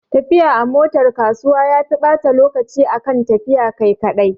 Tafiya a motar kasuwa yafi ɓata lokaci akan tafiya kai kaɗai